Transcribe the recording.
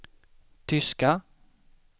tyska